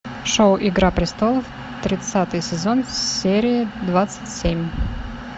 шоу игра престолов тридцатый сезон серия двадцать семь